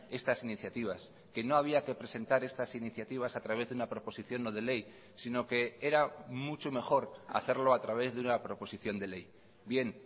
estas iniciativas que no había que presentar estas iniciativas a través de una proposición no de ley sino que era mucho mejor hacerlo a través de una proposición de ley bien